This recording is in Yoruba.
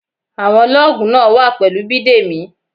Àwọn lọ́ọ̀gù náà wà pẹ̀lú Bidemi.